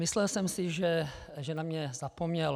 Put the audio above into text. Myslel jsem si, že na mě zapomněl.